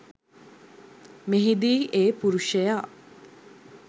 මෙහිදී ඒ පුරුෂයා